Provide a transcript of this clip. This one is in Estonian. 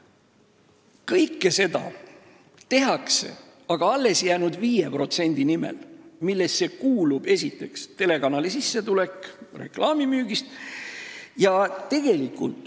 Aga kõike tehakse tegelikult selle alles jäänud 5% nimel, millesse kuulub esiteks telekanali sissetulek reklaami müügist.